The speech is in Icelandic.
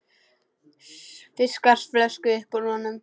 Fiskar flösku upp úr honum.